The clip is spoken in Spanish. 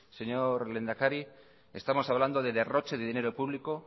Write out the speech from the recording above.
señor lehendakari estamos hablando de derroche de dinero público